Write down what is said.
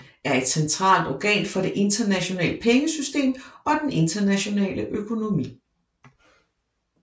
Er et centralt organ for det internationale pengesystem og den internationale økonomi